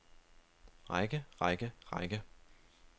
række række række